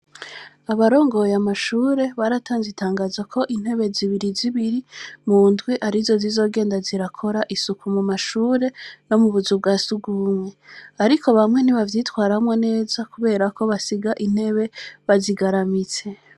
Abarongoye amashure, baratanze itangazo ko intebe zibiri zibiri, mu ndwi, arizo zizogenda zirakora isuku mu mashure no mu buzu bwa surwumwe; ariko bamwe ntibavyitwaramwo neza kubera ko basiga intebe bazigaramitse.